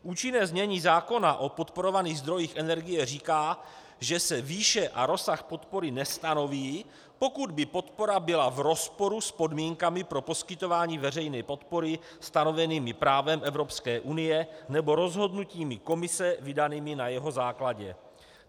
Účinné znění zákona o podporovaných zdrojích energie říká, že se výše a rozsah podpory nestanoví, pokud by podpora byla v rozporu s podmínkami pro poskytování veřejné podpory stanovenými právem Evropské unie nebo rozhodnutími Komise vydanými na jeho základě.